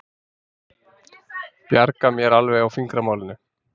Bjarga mér alveg á fingramálinu.